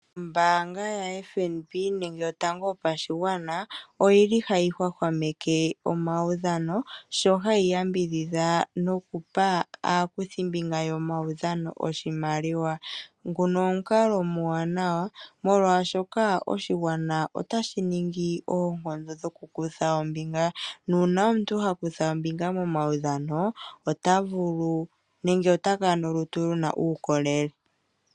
Ombaanga yaFNB nenge yotango yopashigwana oyi li hayi hwahwameke omaudhano, sho hayi yambidhidha okupa aakuthimbinga yomaudhano oshimaliwa. Nguno omukalo omauwanawa molwaashoka oshigwana otashi ningi oonkondo dhokukutha ombinga. Uuna omuntu ha kutha ombinga omaudhano, ota kala nolutu luna uukolele.